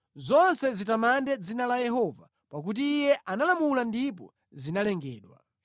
Zonse zitamande dzina la Yehova pakuti Iye analamula ndipo zinalengedwa.